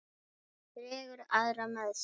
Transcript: Hún dregur aðra með sér.